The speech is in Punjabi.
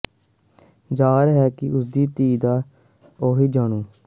ਜ਼ਾਹਰ ਹੈ ਕਿ ਉਸ ਦੀ ਧੀ ਦਾ ਨਾਂ ਜੂਨਓ ਹੈ